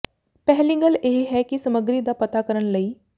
ਪਹਿਲੀ ਗੱਲ ਇਹ ਹੈ ਕਿ ਸਮੱਗਰੀ ਦਾ ਪਤਾ ਕਰਨ ਲਈ